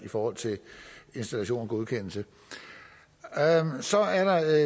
i forhold til installation og godkendelse så er der